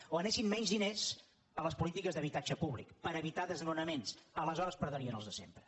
o anessin menys diners a les polítiques d’habitatge públic per evitar desnonaments aleshores perdrien els de sempre